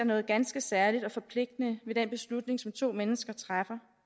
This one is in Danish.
noget ganske særligt og forpligtende ved den beslutning som to mennesker træffer